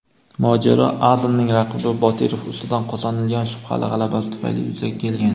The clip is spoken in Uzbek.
mojaro Adamning raqibi Botirov ustidan qozonilgan shubhali g‘alabasi tufayli yuzaga kelgan.